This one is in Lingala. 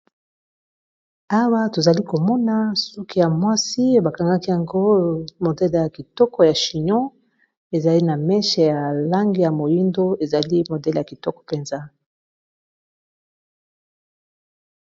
Awa tozali komona suki ya mwasi bakangaki yango modele ya kitoko ya chignon ezali na meche ya langi ya moyindo ezali modele ya kitoko mpenza.